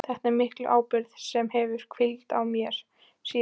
Þetta er mikil ábyrgð sem hefur hvílt á mér síðan.